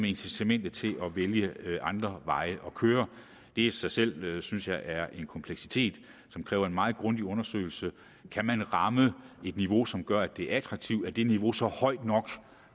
incitamentet til at vælge andre veje at køre det i sig selv synes jeg er en kompleksitet som kræver en meget grundig undersøgelse kan man ramme et niveau som gør at det er attraktivt er det niveau så højt nok